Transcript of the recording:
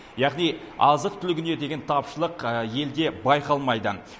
яғни азық түлігіне деген тапшылық елде байқалмайды